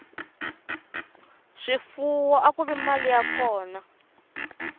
swifuwo akuri mali ya kona